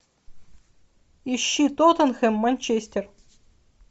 ищи тоттенхэм манчестер